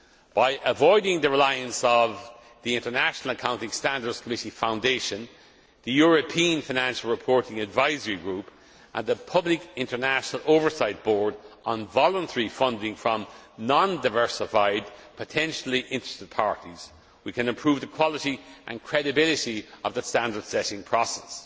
By avoiding the reliance of the International Accounting Standards Committee Foundation, the European Financial Reporting Advisory Group and the international Public Oversight Board on voluntary funding from non diversified potentially interested parties, we can improve the quality and credibility of the standard setting process.